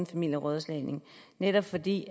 familierådslagning netop fordi